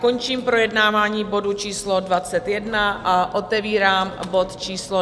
Končím projednávání bodu číslo 21 a otevírám bod číslo